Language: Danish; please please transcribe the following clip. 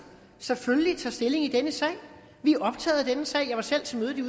selvfølgelig tager stilling i denne sag vi er optaget af denne sag jeg var selv til mødet i